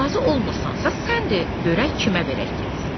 Razı olmursansa, sən de görək kimə verək getsin.